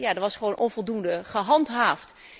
er was gewoon onvoldoende gehandhaafd.